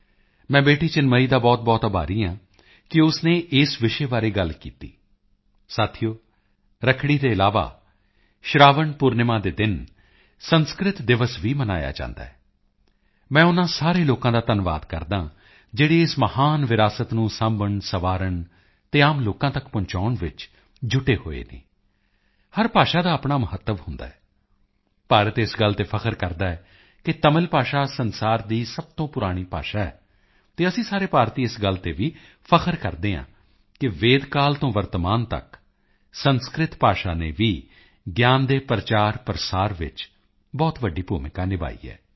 ਮੈਂ ਬੇਟੀ ਚਿਨਮਈ ਦਾ ਬਹੁਤਬਹੁਤ ਆਭਾਰੀ ਹਾਂ ਕਿ ਉਸ ਨੇ ਇਸ ਵਿਸ਼ੇ ਬਾਰੇ ਗੱਲ ਕੀਤੀ ਸਾਥੀਓ ਰੱਖੜੀ ਦੇ ਇਲਾਵਾ ਸ਼ਰਾਵਣ ਪੂਰਨਿਮਾ ਦੇ ਦਿਨ ਸੰਸਕ੍ਰਿਤ ਦਿਵਸ ਵੀ ਮਨਾਇਆ ਜਾਂਦਾ ਹੈ ਮੈਂ ਉਨ੍ਹਾਂ ਸਾਰੇ ਲੋਕਾਂ ਦਾ ਧੰਨਵਾਦ ਕਰਦਾ ਹਾਂ ਜਿਹੜੇ ਇਸ ਮਹਾਨ ਵਿਰਾਸਤ ਨੂੰ ਸਾਂਭਣਸਵਾਰਣ ਅਤੇ ਆਮ ਲੋਕਾਂ ਤੱਕ ਪਹੁੰਚਾਉਣ ਵਿੱਚ ਜੁਟੇ ਹੋਏ ਹਨ ਹਰ ਭਾਸ਼ਾ ਦਾ ਆਪਣਾ ਮਹੱਤਵ ਹੁੰਦਾ ਹੈ ਭਾਰਤ ਇਸ ਗੱਲ ਤੇ ਗਰਵ ਕਰਦਾ ਹੈ ਕਿ ਤਮਿਲ ਭਾਸ਼ਾ ਸੰਸਾਰ ਦੀ ਸਭ ਤੋਂ ਪੁਰਾਣੀ ਭਾਸ਼ਾ ਹੈ ਅਤੇ ਅਸੀਂ ਸਾਰੇ ਭਾਰਤੀ ਇਸ ਗੱਲ ਤੇ ਵੀ ਗਰਵ ਕਰਦੇ ਹਾਂ ਕਿ ਵੇਦਕਾਲ ਤੋਂ ਵਰਤਮਾਨ ਤੱਕ ਸੰਸਕ੍ਰਿਤ ਭਾਸ਼ਾ ਨੇ ਵੀ ਗਿਆਨ ਦੇ ਪ੍ਰਚਾਰਪ੍ਰਸਾਰ ਵਿੱਚ ਬਹੁਤ ਵੱਡੀ ਭੂਮਿਕਾ ਨਿਭਾਈ ਹੈ